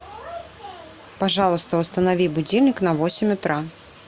пожалуйста установи будильник на восемь утра